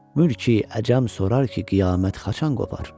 Mülki-əcəm sorar ki, qiyamət haçan qopar.